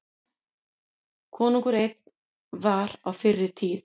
Konungur einn var á fyrri tíð.